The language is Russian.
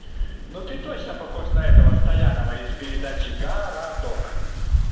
ну ты точно похож на этого стоянова из передачи городок